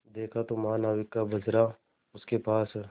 देखा तो महानाविक का बजरा उसके पास है